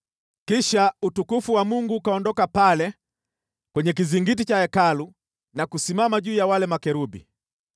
Kisha utukufu wa Bwana ukaondoka pale kwenye kizingiti cha Hekalu na kusimama juu ya wale makerubi.